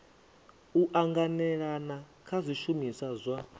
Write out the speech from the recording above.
u anganelana kha zwishumiswa zwa